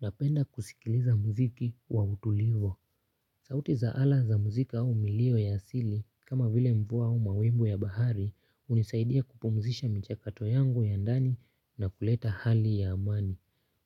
Napenda kusikiliza mziki wa utulivu. Sauti za ala za muziki au mulio ya asili, kama vile mvua au mawimbi ya bahari, hunisaidia kupumzisha mchakato yangu ya ndani na kuleta hali ya amani.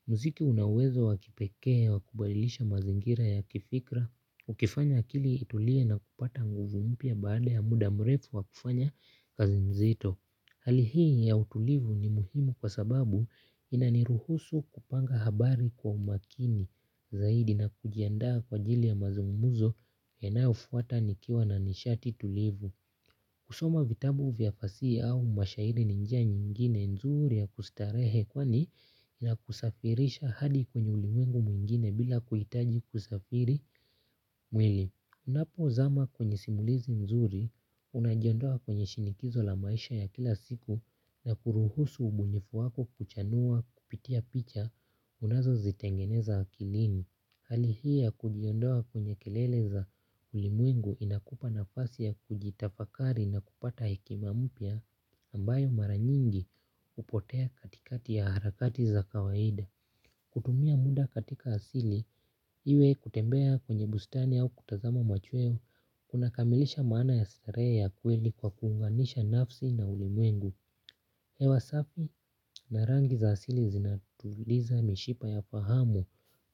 Muziki unawezo wakipekee wa kubadilisha mazingira ya kifikra, ukifanya akili itulie na kupata nguvu mpya baada ya muda mrefu wa kufanya kazi mzito. Hali hii ya utulivu ni muhimu kwa sababu inaniruhusu kupanga habari kwa umakini zaidi na kujiandaa kwa ajili ya mazungumzo yanayo fuata nikiwa na nishati tulivu. Kusoma vitabu vya fasihi au mashahiri ni njia nyingine nzuri ya kustarehe kwani ina kusafirisha hadi kwenye ulimwengu mwingine bila kuhitaji kusafirisha mwili. Unapo zama kwenye simulizi mzuri, unajiondoa kwenye shinikizo la maisha ya kila siku na kuruhusu ubunifu wako kuchanua kupitia picha unazo zitengeneza akilini. Hali hii ya kujiondoa kwenye kelele za ulimwengu inakupa nafasi ya kujitafakari na kupata hekima mpya ambayo mara nyingi hupotea katikati ya harakati za kawaida. Kutumia muda katika asili, iwe kutembea kwenye bustani au kutazama machweo, unakamilisha maana ya starehe ya kweli kwa kuunganisha nafsi na ulimwengu. Hewa safi, na rangi za asili zinatuliza mishipa ya fahamu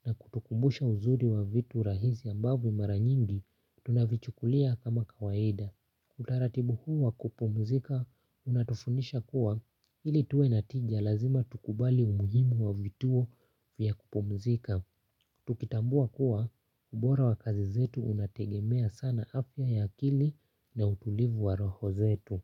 na kutukumbusha uzuri wa vitu rahisi ambavyo mara nyingi tunavichukulia kama kawaida. Hutaratibu huu wa kupumzika unatufundisha kuwa ili tuwe natija lazima tukubali umuhimu wa vituo vya kupumzika. Tukitambua kuwa ubora wa kazi zetu unategemea sana afya ya akili na utulivu wa roho zetu.